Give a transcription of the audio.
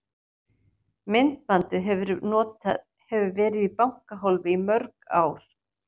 Myndbandið hefur verið í bankahólfi í mörg ár.